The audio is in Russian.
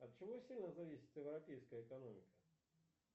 от чего сильно зависит европейская экономика